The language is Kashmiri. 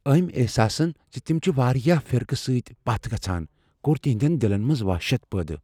امہِ احساسن زِ تِم چھِ وارِیاہ فرقہٕ سۭتۍ پتھ گژھان كو٘ر تِہندین دِلن منز وحشت پٲدٕ ۔